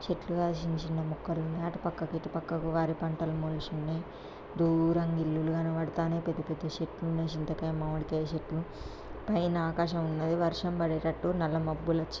చెట్లుగా చిన్న చిన్న మొక్కలున్నాయ్. అటుపక్క ఇటు పక్కకు వరి పంటలు మొలిసున్నాయ్ దూరంగా ఇల్లులు గణపడతాన్నాయ్. పెద్ద పెద్ద చెట్లున్నాయ్. చింతకాయ మామిడికాయ చెట్లు. పైన ఆకాశం ఉన్నది. వర్షం పడేటట్టు నల్ల మబ్బులచ్చి--